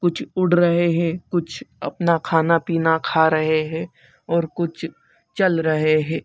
कुछ उड़ रहे हैं कुछ अपना खाना-पीना खा रहे हैं और कुछ चल रहे हैं।